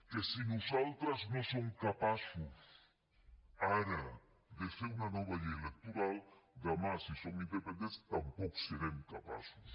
que si nosaltres no som capaços ara de fer una nova llei electoral demà si som independents tampoc en serem capaços